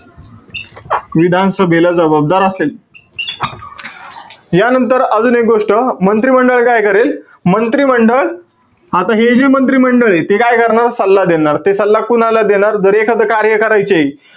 विधानसभेला जबाबदार असेल. यानंतर अजून एक गोष्ट, मंत्रिमंडळ काय करेल? मंत्रिमंडळ, आता हे जे मंत्रिमंडळे, ते काय करणार? सल्ला देणार. ते सल्ला कुणाला देणार? तर एखाद कार्य करायचीय,